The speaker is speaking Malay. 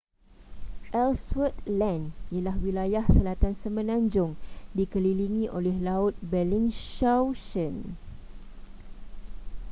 ellsworth land ialah wilayah selatan semenanjung dikelilingi oleh laut bellingshausen